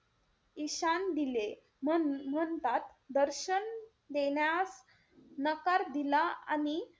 ईशान दिले म्हण~ म्हणताच दर्शन देण्यास नकार दिला आणि,